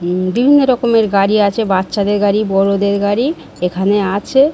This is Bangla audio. উম বিভিন্ন রকমের গাড়ি আছে বাচ্ছাদের গাড়ি বড়োদের গাড়ি এখানে আছে।